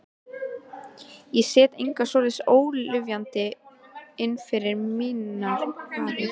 Ég set enga svoleiðis ólyfjan inn fyrir mínar varir.